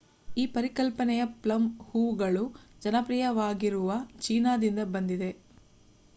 ಈ ಪರಿಕಲ್ಪನೆಯು ಪ್ಲಮ್ ಹೂವುಗಳು ಜನಪ್ರಿಯವಾಗಿರುವ ಚೀನಾ ದಿಂದ ಬಂದಿದೆ